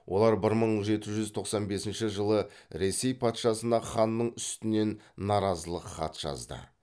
олар бір мың жеті жүз тоқсан бесінші жылы ресей патшасына ханның үстінен наразылық хат жазды